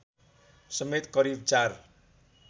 समेत करिव ४